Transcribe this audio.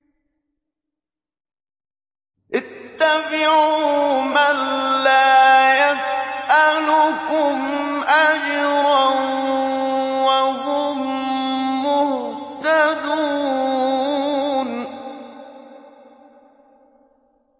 اتَّبِعُوا مَن لَّا يَسْأَلُكُمْ أَجْرًا وَهُم مُّهْتَدُونَ